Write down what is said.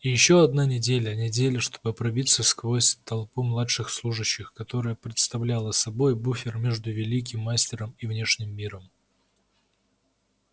и ещё одна неделя неделя чтобы пробиться сквозь толпу младших служащих которая представляла собой буфер между великим мастером и внешним миром